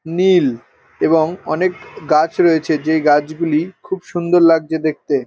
নীল এবং গাছ রয়েছে এই গাছ গুলি খুব সুন্দর লাগছে দেখতে ।